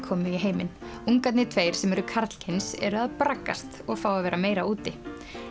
komu í heiminn ungarnir tveir sem eru karlkyns eru að braggast og fá að vera meira úti